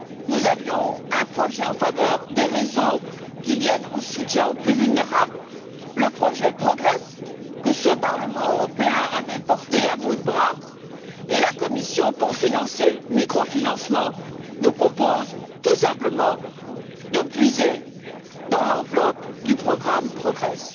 Nous avions un projet en faveur des réseaux de soutien aux plus vulnérables le projet Progress que ce Parlement européen avait porté à bout de bras, et la Commission, pour financer le microfinancement, nous propose tout simplement de puiser dans l'enveloppe du programme Progress.